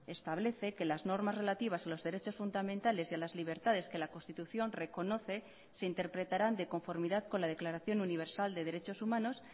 establece que las normas relativas a los derechos fundamentales y a las libertades que la constitución reconoce se interpretarán de conformidad con la declaración universal de derechos humanos